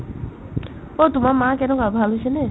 অ, তোমাৰ মা কেনেকুৱা ভাল হৈছে নে ?